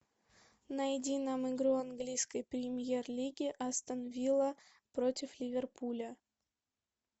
найди нам игру английской премьер лиги астон вилла против ливерпуля